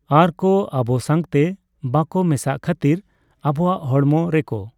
ᱟᱨ ᱠᱚ ᱟᱵᱚ ᱥᱟᱝᱛᱮ ᱵᱟᱝᱠᱚ ᱢᱮᱥᱟᱜ ᱠᱷᱟ.ᱛᱤᱨ ᱟᱵᱚᱣᱟᱜ ᱦᱚᱲᱢᱚ ᱨᱮᱠᱚ